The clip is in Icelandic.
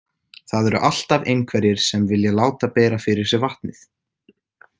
Það eru alltaf einhverjir sem vilja láta bera fyrir sig vatnið.